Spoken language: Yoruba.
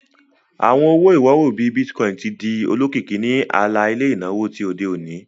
Awọn owo-iworo, bii Bitcoin, ti di olokiki ni ala-ilẹ inawo ti ode oni.